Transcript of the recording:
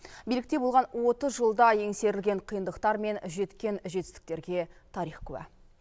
билікте болған отыз жылда еңсерілген қиындықтар мен жеткен жетістіктерге тарих куә